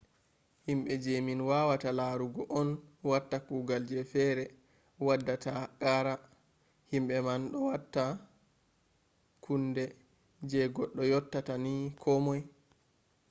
himbe je min wawata larugo on watta kugal je fere waddata qara. himbe man do wata kunde je goddo yottata ni komoi